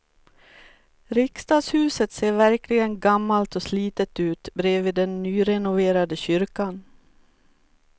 Riksdagshuset ser verkligen gammalt och slitet ut bredvid den nyrenoverade kyrkan.